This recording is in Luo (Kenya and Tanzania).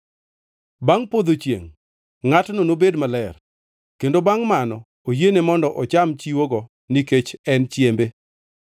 Bangʼ podho chiengʼ, ngʼatno nobed maler, kendo bangʼ mano oyiene mondo ocham chiwogo nikech en chiembe.